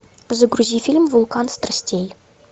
загрузи фильм вулкан страстей